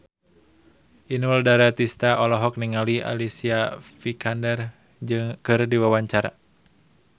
Inul Daratista olohok ningali Alicia Vikander keur diwawancara